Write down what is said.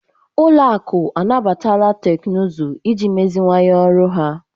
Ụlọ akụ anabatala teknụzụ iji meziwanye ọrụ ha.